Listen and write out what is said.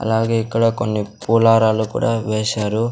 అలాగే ఇక్కడ కొన్ని పూలారాలు కూడా వేశారు.